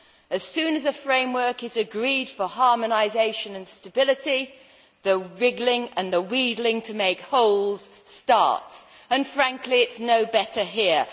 As soon as a framework is agreed for harmonisation and stability, the wriggling and the wheedling to make holes starts, and frankly, it is no better here.